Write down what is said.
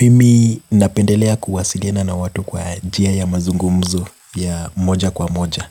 Mimi napendelea kuwasiliana na watu kwa njia ya mazungumzo ya moja kwa moja